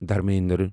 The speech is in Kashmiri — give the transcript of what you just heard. دھرمیندر